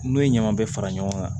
N'o ye ɲaman bɛɛ fara ɲɔgɔn kan